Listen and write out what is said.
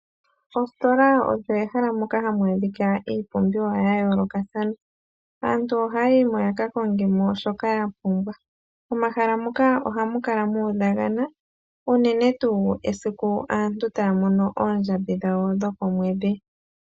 Ositola oyo ehala moka hamu adhika iipumbiwa yayoolokathana, aantu ohaya yi mo yakakonge mo shoka ya pumbwa. Momahala muka ohamu kala mu udha unene tuu esiku aantu taya mono oondjambi dhawo dhokomwedhi.